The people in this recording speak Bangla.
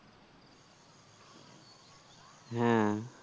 হ্যাঁ